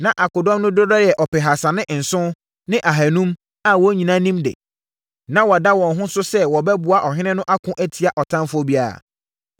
Na akodɔm no dodoɔ yɛ ɔpehasa ne nson ne ahanum a wɔn nyinaa nim de. Na wɔada wɔn ho so sɛ wɔbɛboa ɔhene no ako atia ɔtamfoɔ biara.